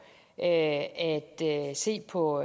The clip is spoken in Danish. at se på